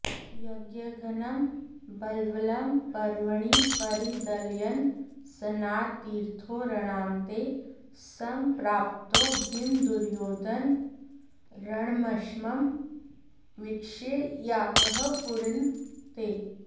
यज्ञघ्नं बल्वलं पर्वणि परिदलयन् स्नाततीर्थो रणान्ते सम्प्राप्तो भीमदुर्योधनरणमशमं वीक्ष्य यातः पुरीं ते